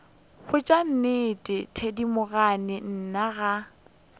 botša nnete thedimogane nna ga